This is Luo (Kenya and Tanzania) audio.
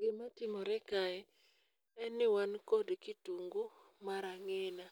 Gima timore kae en ni wan kod kitungu mar ang'ina